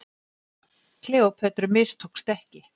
Kleópötru mistókst ekki.